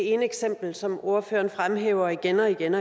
det ene eksempel som ordføreren fremhæver igen og igen